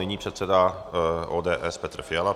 Nyní předseda ODS Petr Fiala.